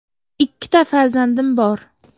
Ikkita farzandim bor.